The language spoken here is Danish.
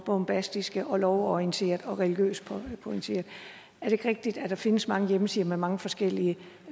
bombastiske og lovorienterede og religiøst orienterede er det ikke rigtigt at der findes mange hjemmesider med mange forskellige